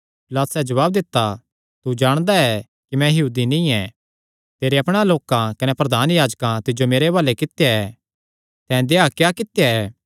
पिलातुसैं जवाब दित्ता तू जाणदा ऐ कि मैं यहूदी नीं ऐ तेरे अपणे लोकां कने प्रधान याजकां तिज्जो मेरे हुआलैं कित्या ऐ तैं देहया क्या कित्या ऐ